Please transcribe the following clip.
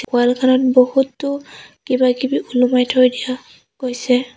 ৱালখনত বহুতো কিবা-কিবি ওলমাই থৈ দিয়া গৈছে।